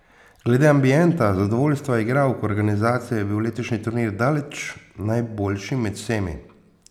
Glede ambienta, zadovoljstva igralk, organizacije je bil letošnji turnir daleč najboljši med vsemi.